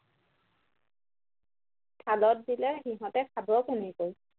থালত দিলে সিঁহতে খাব কেনেকৈ